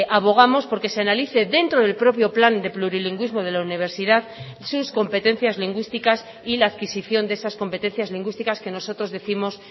abogamos porque se analice dentro del propio plan de plurilingüismo de la universidad sus competencias lingüísticas y la adquisición de esas competencias lingüísticas que nosotros décimos